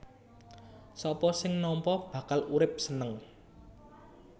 Sapa sing nampa bakal urip seneng